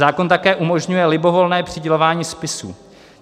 Zákon také umožňuje libovolné přidělování spisů.